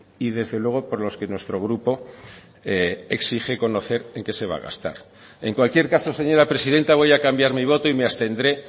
y desde luego por los que nuestro grupo exige conocer en que se va a gastar en cualquier caso señora presidenta voy a cambiar mi voto y me abstendré